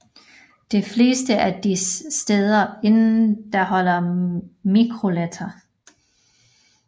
De fleste af disse steder indeholder mikroletter